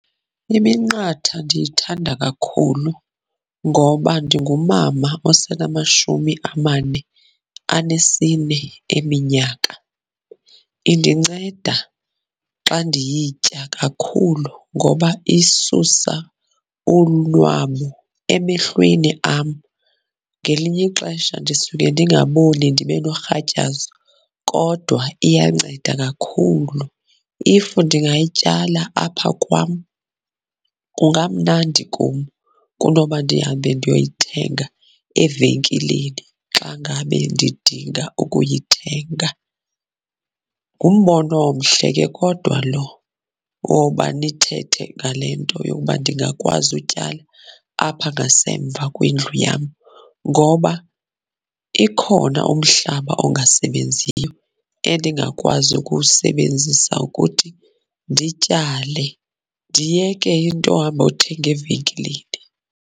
Iminqatha ndiyithanda kakhulu ngoba ndingumama osenamashumi amane anesine eminyaka. Indinceda xa ndiyitya kakhulu ngoba isusa ulunwamu emehlweni am. Ngelinye ixesha ndisuke ningaboni ndibe norhatyazo kodwa iyanceda kakhulu. If ndingayityala apha kwam kungamnandi kum kunoba ndihambe ndiyoyithenga evenkileni xa ngabe ndidinga ukuyithenga. Ngumbono omhle ke kodwa lo woba nithethe ngale nto yokuba ndingakwazi utyala apha ngasemva kwendlu yam. Ngoba ikhona umhlaba ongasebenziyo endingakwazi ukuwusebenzisa ukuthi ndityale, ndiyeke into yohambothenga evenkileni.